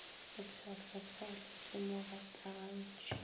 mo pšhatlapšhatle ke mo gatlagantšhe